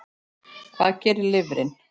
Hvað gerir lifrin?